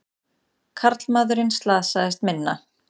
Karlmaðurinn slasaðist minna